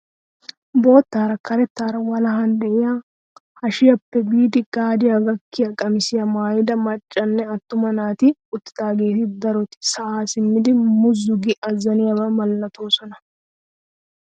Boottaara karettaara walahan de'iyaa hashiyaappe biidi gaadiyaa gakkiyaa qamisiyaa maayida maccanne attuma naati uttidaageeti daroti sa'aa simmidi muzzu gi azaniyaaba milattoosona.